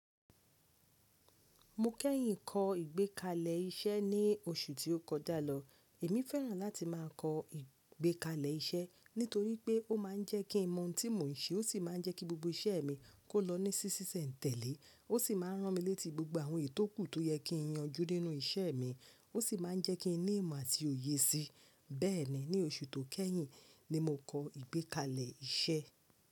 Mo kẹ́yìn kọ́ ìgbékalẹ̀ iṣẹ́ ní oṣù tí ó kọjá lọ. Èmi fẹ́ràn láti má a kọ ìgbékalẹ̀ iṣẹ́ nítorí pé ó má a ń jẹ́ kí n mọ ohun tí mò ń ṣe, ó sì má a ń jẹ́ kí gbogbo iṣẹ́ mi kó lọ ní sísísẹ̀ n tẹ̀lé. Ó sì má a rán mi létí gbogbo àwọn ètò kù tó yẹ kí n yanjú nínú ìṣe mi. Ó sì má a ń jẹ́ kí n ní ìmọ̀ àti òye sí i. Bẹ́ẹ̀ni, ní oṣù tó kẹ́yìn ni mo kọ ìgbékalẹ̀ iṣẹ́.